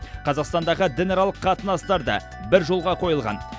қазақстандағы дінаралық қатынастар да бір жолға қойылған